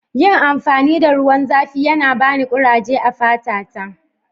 Yin amfani da ruwan zafi yana bani kuraje a'fata ta.